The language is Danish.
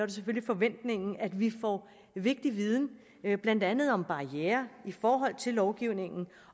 det selvfølgelig forventningen at vi får vigtig viden blandt andet om barrierer i forhold til lovgivningen